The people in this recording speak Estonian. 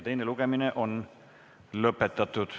Teine lugemine on lõpetatud.